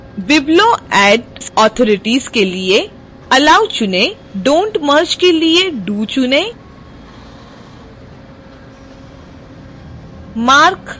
biblioaddsauthorities के लिए allow चुनें dontmerge के लिए do चुनें